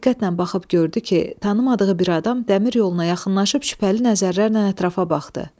Diqqətlə baxıb gördü ki, tanımadığı bir adam dəmir yoluna yaxınlaşıb şübhəli nəzərlərlə ətrafa baxdı.